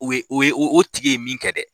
O ye o ye o tigi ye min kɛ dɛ.